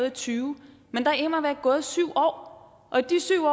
og tyve men der er immer væk gået syv år